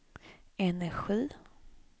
energi